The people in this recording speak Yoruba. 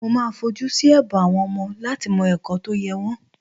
Mo máa fojú sí ẹ̀bùn àwọn ọmọ láti mọ ẹ̀kọ́ tó yẹ wọ́n